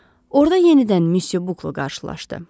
Orada yenidən Müsyo Bukla qarşılaşdı.